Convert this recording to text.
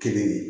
Kelen